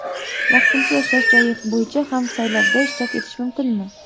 Vaqtincha yashash joyi bo‘yicha ham saylovda ishtirok etish mumkinmi?